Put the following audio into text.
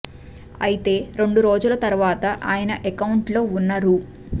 అయితే రెండు రోజుల తరువాత ఆయన అకౌంట్ లో ఉన్న రూ